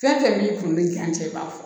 Fɛn fɛn min kun bɛ kɛ an cɛ b'a fɔ